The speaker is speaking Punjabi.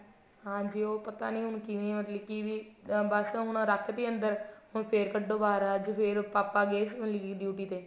ਹਾਂਜੀ ਉਹ ਪਤਾ ਨਹੀਂ ਹੁਣ ਕਿਵੇਂ ਹੋਜੇ ਕਿਵੇਂ ਬੱਸ ਹੁਣ ਰੱਖਤੀ ਅੰਦਰ ਹੁਣ ਫ਼ੇਰ ਕੱਢੋ ਬਹਾਰ ਅੱਜ ਫ਼ੇਰ ਪਾਪਾ ਗਏ ਮਤਲਬ ਕੀ duty ਦੇ